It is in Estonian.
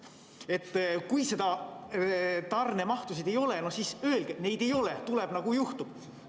Kui tarnemahtusid ei ole, no siis öelgegi, et neid ei ole, tuleb nii, nagu juhtub.